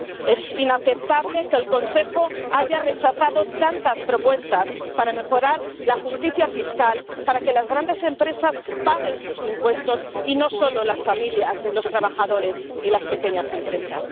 Es inaceptable que el Consejo haya rechazado tantas propuestas para mejorar la justicia fiscal, para que las grandes empresas paguen sus impuestos, y no solo las familias, los trabajadores y las pequeñas empresas.